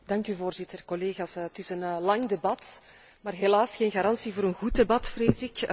Voorzitter, collega's, het is een lang debat, maar dat is helaas geen garantie voor een goed debat vrees ik.